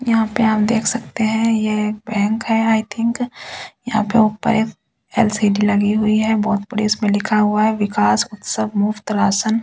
यहाँपे आप देख सकते हैं ये एक बैंक हैं आई थिंग यहाँपे ऊपर एक एल_सी_डी लगी हुई है बहुत बड़ी उसपे लिखी हुआ है बिकाश उत्सव मुफ्त रासन ।